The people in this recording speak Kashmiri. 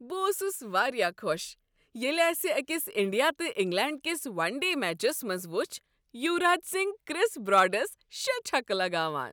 بہٕ اوسس واریاہ خوش ییلِہ اسِہ أکس انڈیا تہٕ انگلینڈ کس ون ڈے میچس منٛز وچھ یوراج سنگھ کِرس براڈس شےٚ چھکہٕ لگاوان۔